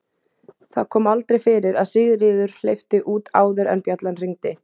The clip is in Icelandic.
Það kom aldrei fyrir að Sigríður hleypti út áður en bjallan hringdi.